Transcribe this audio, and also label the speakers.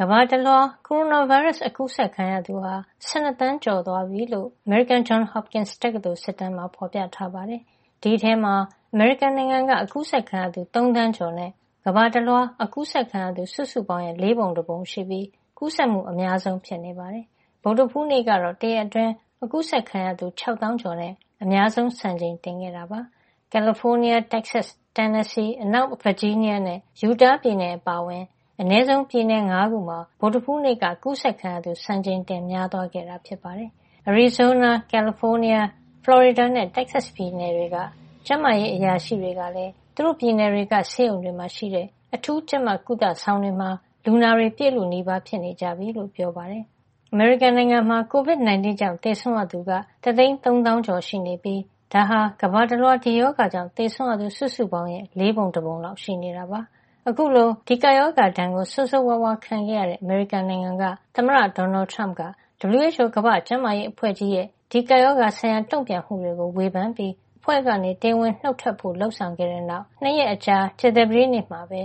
Speaker 1: ကမ္ဘာတလွှား ကိုရိုနာဗိုင်းရပ်စ် အကူးစက်ခံရသူဟာ ၁၂ သန်းကျော် (၁၂,၁၂၈,၄၀၆) သွားပြီလို့ အမေရိကန် Johns Hopkins တက္ကသိုလ် စစ်တမ်းမှာ ဖေါ်ပြထားပါတယ်။ ဒီအထဲမှာ အမေရိကန်နိုင်ငံက အကူးစက်ခံရသူ ၃ သန်းကျော် (၃,၀၈၈,၉၁၃) နဲ့ ကမ္ဘာတလွှား အ ကူးစက်ခံရ သူစုစုပေါင်းရဲ့ လေးပုံတပုံရှိပြီး ကူးစက်မှု အများဆုံးဖြစ်နေပါတယ်။ ဗုဒ္ဓဟူးနေ့ကတော့ တရက်အတွင်း အကူးစက်ခံရသူ ၆ သောင်းကျော်နဲ့ အများဆုံးစံချိန် တင်ခဲ့တာပါ။ ကယ်လီဖိုးနီးယား၊ တက်ဆက်စ်၊ တန်နစီ၊ အနောက်ဗာဂျီးနီးယားနဲ့ ယူတား ပြည်နယ် - အပါအဝင် အနဲဆုံးပြည်နယ် ၅ ခုမှာ ဗုဒ္ဓဟူးနေ့က ကူးစက်ခံရသူ စံချိန်တင်များသွားခဲ့တာပါ။ အရီဇိုးနား၊. ကယ်လီဖိုးနီးယား၊ ဖလော်ရီဒါနဲ့ တက်ဆက်စ် ပြည်တွေက ကျန်းမာရေး အရာရှိ တွေကလည်း သူတို့ ပြည်နယ်တွေက ဆေးရုံတွေမှာ ရှိတဲ့ အထူးကြပ်မတ်ကုသ ဆောင်တွေမှာ လူနာတွေ ပြည့်လုနီးပါ ဖြစ်နေကြပြီလို့ ပြောပါတယ်။ အမေရိကန်နိုင်ငံမှာ ကိုဗစ် ၁၉ ကြောင့် သေဆုံးရသူက တသိန်းသုံးသောင်းကျော် (၁၃၂, ၉၃၄) ရှိနေပြီး ဒါဟာ ကမ္ဘာတလွှား ဒီရောဂါကြောင့် သေဆုံးရသူ စုစုပေါင်း (၅၅၁,၅၂၂) ရဲ့ လေးပုံတပုံလောက် ရှိနေတာပါ။ အခုလို ဒီကပ်ရောဂါဒဏ် ဆိုးဆိုးဝါးဝါး ခံရတဲ့ အမေရိကန်က သမ္မတ ဒေါ်နယ်ထရမ့်က WHO ကမ္ဘာ့ကျန်းမာရေးအဖွဲ့ကြီးရဲ့ ဒီကပ်ရောဂါဆိုင်ရာတုန့်ပြန်မှုတွေကို ဝေဖန်ပြီး အဖွဲ့ကနေတရားဝင်နှုတ်ထွက်ဖို့ လုပ်ဆောင်ခဲ့တဲ့ နောက် ၂ ရက်အကြာ ကြာသပတေးနေ့မှာပဲ